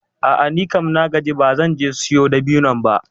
A'a nikam na gaji ba zan je siyo dabinon ba.